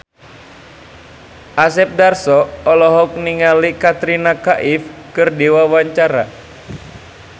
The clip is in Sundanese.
Asep Darso olohok ningali Katrina Kaif keur diwawancara